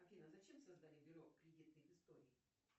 афина зачем создали бюро кредитных историй